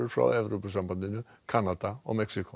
frá Evrópusambandinu Kanada og Mexíkó